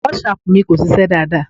WhatsApp mi kò ṣiṣẹ́ dáadáa.